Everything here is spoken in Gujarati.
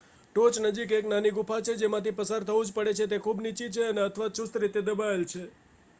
ટોચ નજીક એક નાની ગુફા છે જેમાંથી પસાર થવુંજ પડે છે તે ખૂબ નીચી છે અને અથવા ચુસ્ત રીતે દબાવેલ છે